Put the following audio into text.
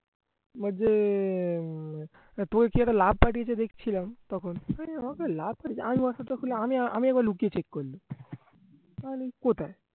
আহ উম তোকে কি একটা love পাঠিয়েছে দেখছিলাম তখন আমি একবার লুকিয়ে check করলুম কোথায়